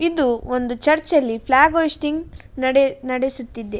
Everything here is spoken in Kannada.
ಇದು ಒಂದು ಚರ್ಚ್ ಅಲ್ಲಿ ಫ್ಲಾಗ್ ಹೋಸ್ಟಿಂಗ್ ನಡೆ ನಡೆಸುತ್ತಿದೆ.